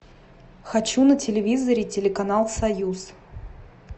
хочу на телевизоре телеканал союз